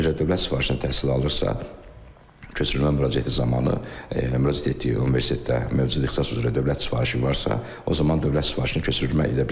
Əgər dövlət sifarişinə təhsil alırsa, köçürülmə müraciəti zamanı müraciət etdiyi universitetdə mövcud ixtisas üzrə dövlət sifarişi varsa, o zaman dövlət sifarişini köçürülmə edə bilər.